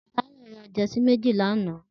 Tayo rà jèsí méji lànã